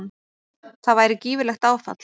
Það væri gífurlegt áfall.